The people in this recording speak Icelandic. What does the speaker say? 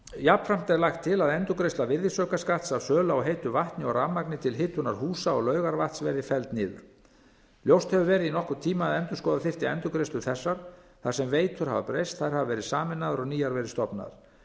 jafnframt er lagt til að endurgreiðsla virðisaukaskatts af sölu á heitu vatni og rafmagni til hitunar húsa og laugarvatns verði felld niður ljóst hefur verið í nokkurn tíma að endurskoða þyrfti endurgreiðslur þessar þar sem veitur hafa breyst þær hafa verið sameinaðar og nýjar verið stofnaðar